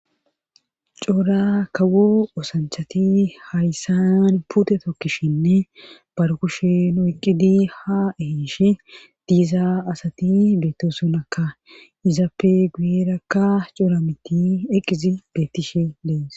coora kawo osanchati hayssan pute tokkishinne barkushe noeqqidi ha ehiishe diizaa asati beetto sonaka izappe guyerakka cora miti eqqizi beettishe dees